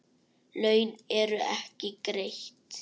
Laun eru ekki greidd.